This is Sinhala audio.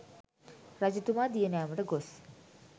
රජතුමා දිය නෑමට ගොස්